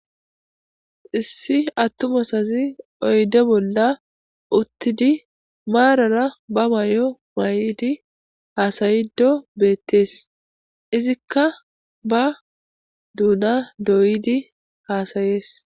Issi attumay asazi oyde bolla uttidi maarara ba mayo mayidi hasa'ido bettees izikka ba duuna doyidi hasa'ees.